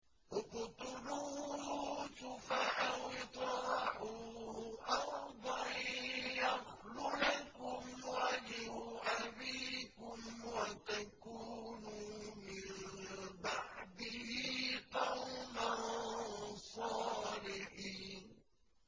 اقْتُلُوا يُوسُفَ أَوِ اطْرَحُوهُ أَرْضًا يَخْلُ لَكُمْ وَجْهُ أَبِيكُمْ وَتَكُونُوا مِن بَعْدِهِ قَوْمًا صَالِحِينَ